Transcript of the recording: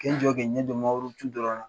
K'i jɔ k'i ɲɛ don mangoro tun dɔ la